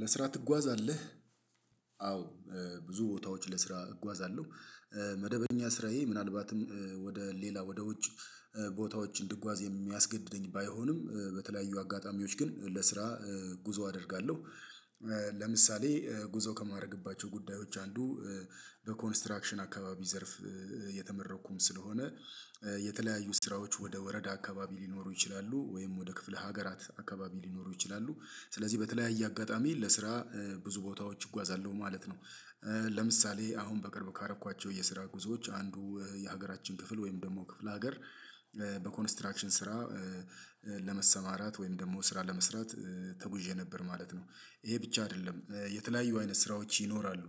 ለስራ ትጓዛለህ አዎ ብዙ ቦታዎች ለስራ እጓዛለሁ መደበኛ ስራዬ ምናልባትም ወደ ሌላ ወደ ውጭ ቦታዎች እንድጓዝ የሚያስገድደኝ ባይሆንም በተለያዩ አጋጣሚዎች ግን ለስራ ጉዞ አደርጋለሁ። ለምሳሌ ጉዞ ከማድረግባቸው ጉዳዮች አንዱ በኮንስትራክሽን አካባቢ ዘርፍ የተመረቅኩም ስለሆነ የተለያዩ ስራዎች ወደ ወረዳ አካባቢ ሊኖሩ ይችላሉ ወይም ወደ ክፍለ ሀገራት አካባቢ ሊኖሩ ይችላሉ ስለዚህ በተለያየ አጋጣሚ ለስራ ብዙ ቦታዎች እጓዛለሁ ማለት ነው። ለምሳሌ አሁን በቅርብ ካደረግኳቸው የስራ ጉዞዎች አንዱ የሀገራችን ክፍል ወይም ደግሞ ክፍለ ሀገር በኮንስትራክሽን ስራ ለመሰማራት ወይም ደግሞ ስራ ለመስራት ተጉዤ ነበር ማለት ነው። ይሄ ብቻ አይደለም የተለያዩ አይነት ስራዎች ይኖራሉ።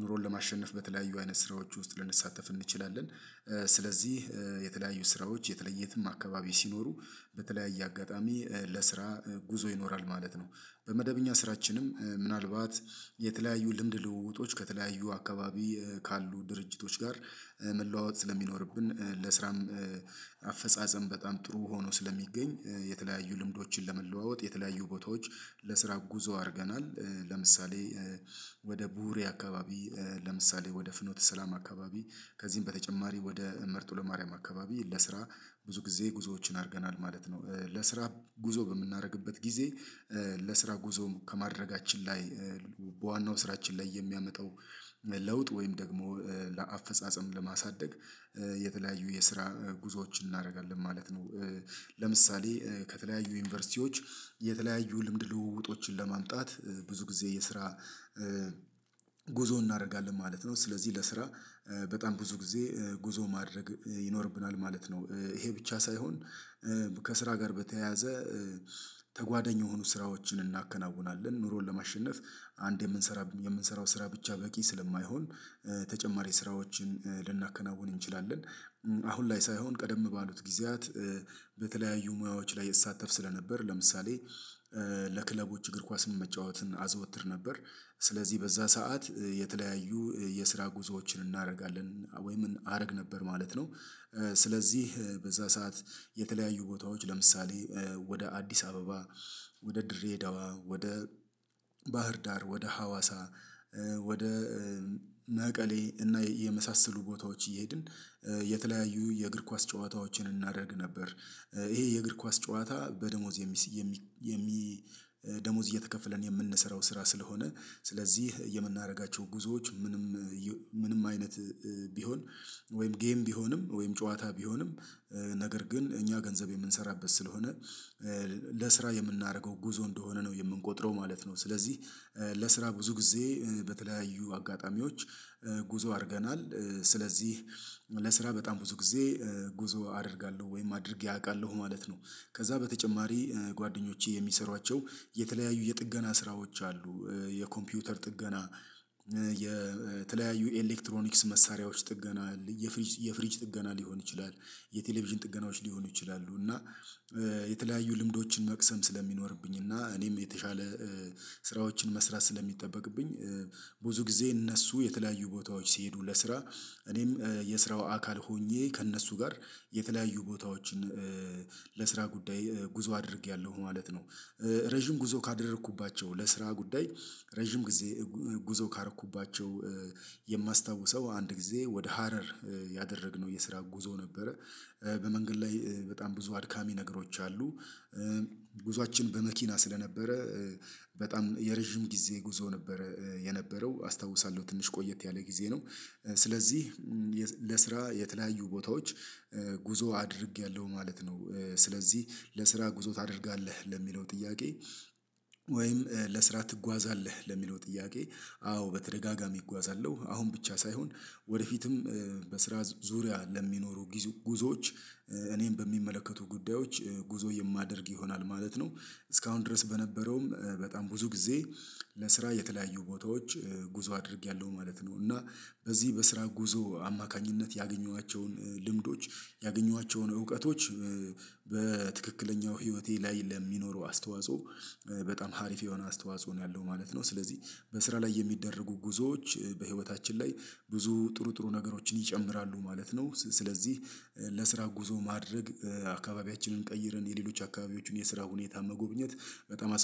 ኑሮን ለማሸነፍ በተለያዩ አይነት ስራዎች ውስጥ ልንሳተፍ እንችላለን። ስለዚህ የተለያዩ ስራዎች የትም አካባቢ ሲኖሩ በተለያየ አጋጣሚ ለስራ ጉዞ ይኖራል ማለት ነው። በመደበኛ ስራችንም ምናልባት የተለያዩ ልምድ ልውውጦች ከተለያዩ አካባቢ ካሉ ድርጅቶች ጋር መለዋወጥ ስለሚኖርብን ለስራም አፈጻጸም በጣም ጥሩ ሆኖ ስለሚገኝ የተለያዩ ልምዶችን ለመለዋወጥ የተለያዩ ቦታዎች ለስራ ጉዞ አድርገናል። ለምሳሌ ወደ ቡህሪ አካባቢ ለምሳሌ ወደ ፍኖተ ሰላም አካባቢ ከዚህም በተጨማሪ ወደ መርጦ ለማርያም አካባቢ ለስራ ብዙ ጊዜ ጉዞዎችን አድርገናል ማለት ነው። ለስራ ጉዞ በምናደርግበት ጊዜ ለስራ ጉዞ ከማድረጋችን ላይ በዋናው ስራችን ላይ የሚያመጣው ለውጥ ወይም ደግሞ ለአፈጻጸም ለማሳደግ የተለያዩ የስራ ጉዞዎችን እናደርጋለን ማለት ነው። ለምሳሌ ከተለያዩ ዩኒቨርሲቲዎች የተለያዩ ልምድ ልውውጦችን ለማምጣት ብዙ ጊዜ የስራ ጉዞ እናደርጋለን ማለት ነው። ስለዚህ ለስራ በጣም ብዙ ጊዜ ጉዞ ማድረግ ይኖርብናል ማለት ነው። ይሄ ብቻ ሳይሆን ከስራ ጋር በተያያዘ ተጓዳኝ የሆኑ ስራዎችን እናከናውናለን ኑሮን ለማሸነፍ አንድ የምንሰራ የምንሰራው ስራ ብቻ በቂ ስለማይሆን ተጨማሪ ስራዎችን ልናከናውን እንችላለን። አሁን ላይ ሳይሆን ቀደም ባሉት ጊዜያት በተለያዩ ሙያዎች ላይ እሳተፍ ስለነበር ለምሳሌ ለክለቦች እግር ኳስ መጫወትን አዘወትር ነበር። ስለዚህ በዛ ሰዓት የተለያዩ የስራ ጉዞዎችን እናደርጋለን ወይም አደርግ ነበር ማለት ነው። ስለዚህ በዛ ሰዓት የተለያዩ ቦታዎች ለምሳሌ ወደ አዲስ አበባ ወደ ድሬዳዋ ወደ ባህር ዳር ወደ ሀዋሳ ወደ መቀሌ እና የመሳሰሉ ቦታዎች እየሄድን የተለያዩ የእግር ኳስ ጨዋታዎችን እናደርግ ነበር። ይሄ የእግር ኳስ ጨዋታ በደሞዝ የሚ የሚ ደሞዝ እየተከፈለን የምንሰራው ስራ ስለሆነ ስለዚህ የምናደርጋቸው ጉዞዎች ምንም አይነት ቢሆን ወይም ጌም ቢሆንም ወይም ጨዋታ ቢሆንም ነገር ግን እኛ ገንዘብ የምንሰራበት ስለሆነ ለስራ የምናደርገው ጉዞ እንደሆነ ነው የምንቆጥረው ማለት ነው። ስለዚህ ለስራ ብዙ ጊዜ በተለያዩ አጋጣሚዎች ጉዞ አድርገናል። ስለዚህ ለስራ በጣም ብዙ ጊዜ ጉዞ አደርጋለሁ ወይም አድርጌ አውቃለሁ ማለት ነው። ከዛ በተጨማሪ ጓደኞቼ የሚሰሯቸው የተለያዩ የጥገና ስራዎች አሉ። የኮምፒውተር ጥገና የተለያዩ ኤሌክትሮኒክስ መሳሪያዎች ጥገና የፍሪጅ የፍሪጅ ጥገና ሊሆን ይችላል። የቴሌቪዥን ጥገናዎች ሊሆኑ ይችላሉ። እና የተለያዩ ልምዶችን መቅሰም ስለሚኖርብኝ እና እኔም የተሻለ ስራዎችን መስራት ስለሚጠበቅብኝ ብዙ ጊዜ እነሱ የተለያዩ ቦታዎች ሲሄዱ ለስራ እኔም የስራው አካል ሆኜ ከእነሱ ጋር የተለያዩ ቦታዎችን ለስራ ጉዳይ ጉዞ አድርጌያለሁ ማለት ነው። ረጅም ጉዞ ካደረግኩባቸው ለስራ ጉዳይ ረጅም ጊዜ ጉዞ ካደረግኩባቸው የማስታውሰው አንድ ጊዜ ወደ ሀረር ያደረግነው የስራ ጉዞ ነበረ። በመንገድ ላይ በጣም ብዙ አድካሚ ነገሮች አሉ። ጉዞአችን በመኪና ስለነበረ በጣም የረጅም ጊዜ ጉዞ ነበረ የነበረው አስታውሳለሁ ትንሽ ቆየት ያለ ጊዜ ነው። ስለዚህ ለስራ የተለያዩ ቦታዎች ጉዞ አድርጌያለሁ ማለት ነው። ስለዚህ ለስራ ጉዞ ታደርጋለህ ለሚለው ጥያቄ ወይም ለስራ ትጓዛለህ ለሚለው ጥያቄ አዎ በተደጋጋሚ እጓዛለሁ አሁን ብቻ ሳይሆን ወደፊትም በስራ ዙሪያ ለሚኖሩ ጉዞዎች እኔን በሚመለከቱ ጉዳዮች ጉዞ የማደርግ ይሆናል ማለት ነው። እስካሁን ድረስ በነበረውም በጣም ብዙ ጊዜ ለስራ የተለያዩ ቦታዎች ጉዞ አድርጌያለሁ ማለት ነው። እና በዚህ በስራ ጉዞ አማካኝነት ያገኘኋቸውን ልምዶች ያገኘኋቸውን እውቀቶች በትክክለኛው ህይወቴ ላይ ለሚኖረው አስተዋጽኦ በጣም አሪፍ የሆነ አስተዋጽኦ ነው ያለው ማለት ነው። ስለዚህ በስራ ላይ የሚደረጉ ጉዞዎች በህይወታችን ላይ ብዙ ጥሩ ጥሩ ነገሮችን ይጨምራሉ ማለት ነው። ስለዚህ ለስራ ጉዞ ማድረግ አካባቢያችንን ቀይረን የሌሎች አካባቢዎችን የስራ ሁኔታ መጎብኘት በጣም